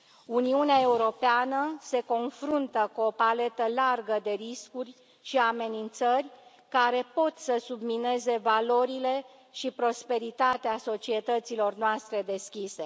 Uniunea Europeană se confruntă cu o paletă largă de riscuri și amenințări care pot să submineze valorile și prosperitatea societăților noastre deschise.